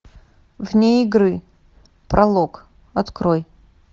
вне игры пролог открой